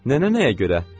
Nənə nəyə görə?